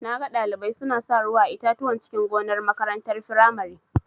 Naga Ɗalibai suna sa ruwa a itatuwan cikin gonar makarantar firamare.